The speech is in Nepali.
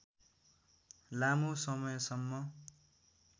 लामो समयसम्म